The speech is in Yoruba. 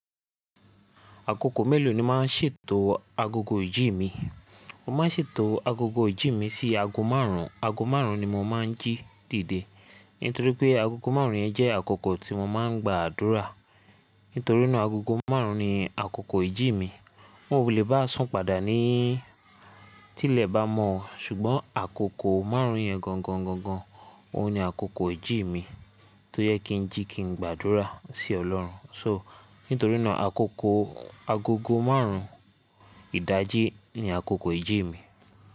Àkókò mélòó ni màá ṣètò agogo ìjí mi? Mo máa ń ṣètò agogo ìjí mi sí ago márùn ún. Ago márùn ún ni mo máa ń jí dìde nítorí pé agogo márùn ún yẹn jẹ́ àkókò tí mo máa ń gba àdúrà. Nítorí náà agogo márùn ún ni àkókò ìjí mi. N ò lè bá a sún padà ní tí ilẹ̀ bá mọ̀, ṣùgbọ́n àkókò márùn ún yẹn gangan, gangan òun ni àkókò ìjí mi tó yẹ kí n jí kí n gba àdúrà sí Ọlọ́run. So nítorí náà àkókò agogo márùn ún ìdájí ni àkókò ìjí mi.